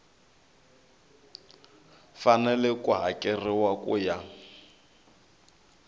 fanele ku hakeriwa ku ya